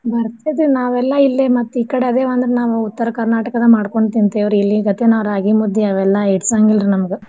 ಬರ್ತೇತಿ ನಾವೆಲ್ಲಇಲ್ಲೇ ಮತ್ ಈ ಕಡೆ ಅದೇವಂದ್ರ ನಾವು ಉತ್ತರ್ ಕರ್ನಾಟಕದ್ ಮಾಡ್ಕೊಂ ತಿಂತಿವ್ ರೀ. ಇಲ್ಲಿ ಗತೆ ರಾಗೀ ಮುದ್ದೆ ಅವೆಲ್ಲ ಹಿಡ್ಸಂಗಿಲ್ ರೀ ನಮ್ಗ.